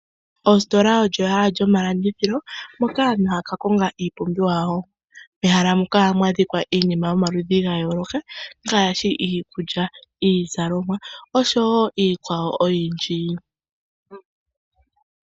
Ositola olyo ehala lyomalandithilo hoka aantu ha ya ka konga iipumbiwa yawo. Mehala muka ohamu adhika iinima oyindji yomaludhi ga yooloka ngaashi iikulya niizalomwa osho wo iikwawo oyindji.